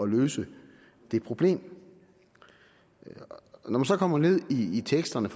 løse det problem når man så kommer ned i teksterne